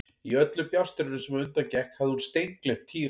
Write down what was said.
Í öllu bjástrinu sem á undan gekk hafði hún steingleymt Týra.